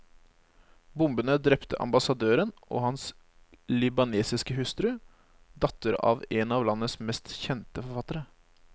Bombene drepte ambassadøren og hans libanesiske hustru, datter av en av landets mest kjente forfattere.